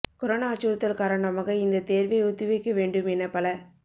corona அச்சுறுத்தல் காரணமாக இந்த தேர்வை ஒத்திவைக்க வேண்டும் என பல